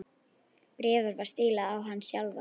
Bréfið var stílað á hann sjálfan.